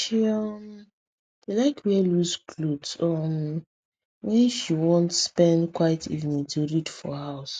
she um dey like wear loose cloth um when she want spend quiet evenings to read for house